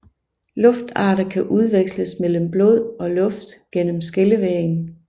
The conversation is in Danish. Luftarter kan udveksles mellem blod og luft gennem skillevæggen